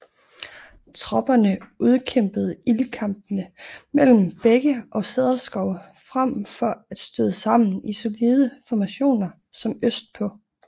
Tropperne udkæmpede ildkampe mellem bække og cederskove frem for at støde sammen i solide formationer som østpå